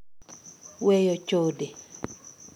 Weyo chode.